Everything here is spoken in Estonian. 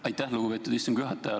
Aitäh, lugupeetud istungi juhataja!